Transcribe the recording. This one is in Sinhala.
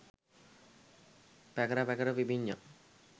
පැකර පැකර පිපිඤ්ඤා